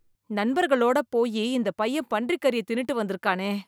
நண்பர்களோடு போயி இந்த பையன் பன்றிக்கறியை தின்னுட்டு வந்து இருக்கானே!